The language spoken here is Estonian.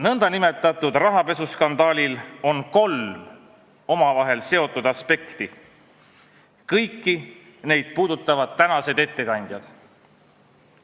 Nõndanimetatud rahapesuskandaalil on kolm omavahel seotud aspekti ja kõiki neid puudutavad tänased ettekandjad.